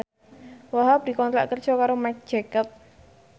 Wahhab dikontrak kerja karo Marc Jacob